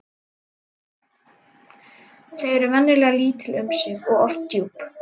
Þau eru venjulega lítil um sig og oft djúp.